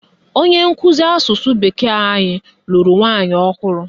Onye nkụzi asụsụ bekee anyị lụrụ nwaanyị ọhụrụ